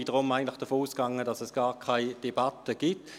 Deshalb bin ich davon ausgegangen, dass es gar keine Debatte gibt.